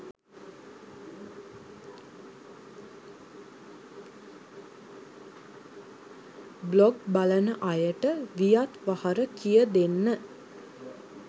blog බලන අයට වියත් වහර කිය දෙන්න